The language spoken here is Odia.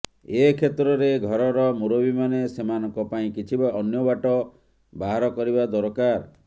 ଏ କ୍ଷେତ୍ରରେ ଘରର ମୁରବୀମାନେ ସେମାନଙ୍କ ପାଇଁ କିଛି ଅନ୍ୟ ବାଟ ବାହାର କରିବା ଦରକାର